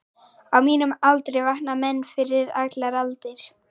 Á mínum aldri vakna menn fyrir allar aldir.